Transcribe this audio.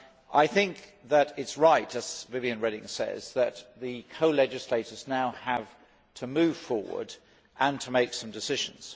I think that it is right, as Viviane Reding says, that the co legislators now have to move forward and make some decisions.